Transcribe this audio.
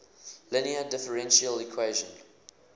linear differential equation